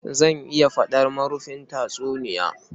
Zan iya faɗar marufin tatsuniya